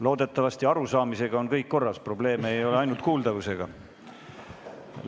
Loodetavasti arusaamisega on kõik korras, probleeme ei ole, ainult kuuldavusega.